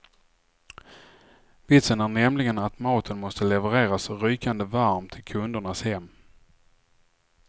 Vitsen är nämligen att maten måste levereras rykande varm till kundernas hem.